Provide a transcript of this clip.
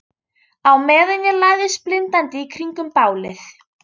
Á meðan ég læðist blindandi í kringum bálið.